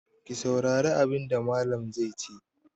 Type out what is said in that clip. Ku saurari abin da Mallam zai ce!